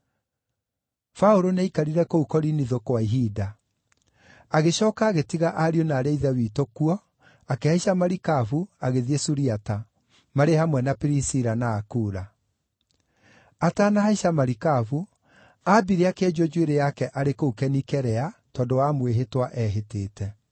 Paũlũ nĩaikarire kũu Korinitho kwa ihinda. Agĩcooka agĩtiga ariũ na aarĩ a Ithe witũ kuo, akĩhaica marikabu agĩthiĩ Suriata, marĩ hamwe na Pirisila na Akula. Atanahaica marikabu, aambire akĩenjwo njuĩrĩ yake arĩ kũu Kenikirea, tondũ wa mwĩhĩtwa eehĩtĩte.